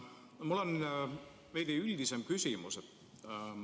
Mul on veidi üldisem küsimus.